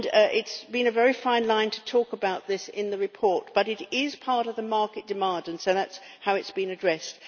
It has been a very fine line to talk about this in the report, but it is part of the market demand and so that is how it has been addressed.